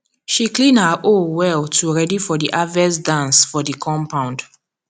she clean her hoe well to ready for the harvest dance for the compound